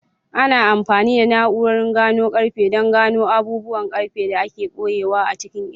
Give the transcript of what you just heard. Ana amfani da na'urorin gano ƙarfe don gano abubuwan ƙarfe da aka ɓoye a cikin itace.